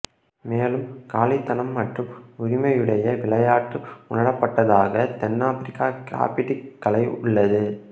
மேலும் காலித்தனம் மற்றும் உரிமையுடைய விளையாட்டு உணரப்பட்டதாக தென் ஆப்பிரிக்க கிராஃபிட்டிக் கலை உள்ளது